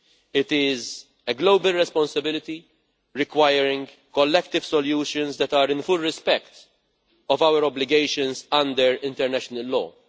It is a global responsibility, requiring collective solutions that are in full respect of our obligations under international law.